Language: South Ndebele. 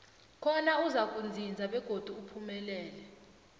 khona uzakuzinza begodi uphumelele